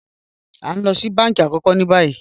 A n lọ sí bánkí àkókò ní bàyì